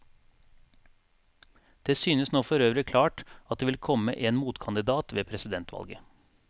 Det synes nå forøvrig klart at det vil komme en motkandidat ved presidentvalget.